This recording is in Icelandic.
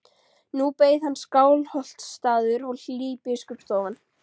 Nú beið hans Skálholtsstaður og hlý biskupsstofan.